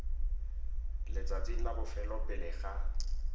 letsatsing la bofelo pele ga